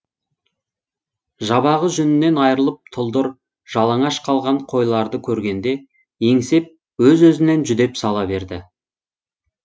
жабағы жүнінен айрылып тұлдыр жалаңаш қалған қойларды көргенде еңсеп өз өзінен жүдеп сала береді